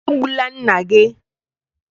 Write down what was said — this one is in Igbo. E gbula nna gị!